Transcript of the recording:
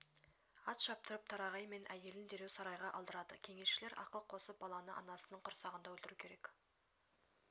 ат шаптырып тарағай мен әйелін дереу сарайға алдырады кеңесшілер ақыл қосып баланы анасының құрсағында өлтіру керек